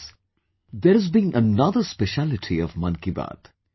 Friends, there has been another specialty of 'Mann Ki Baat'